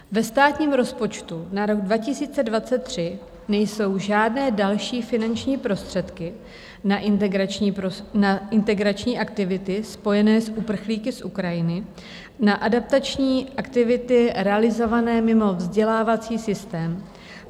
Ve státním rozpočtu na rok 2023 nejsou žádné další finanční prostředky na integrační aktivity spojené s uprchlíky z Ukrajiny, na adaptační aktivity realizované mimo vzdělávací systém.